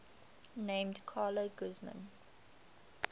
named carla guzman